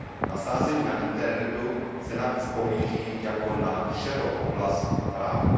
Na sázení na internetu se navíc pohlíží jako na šedou oblast práva.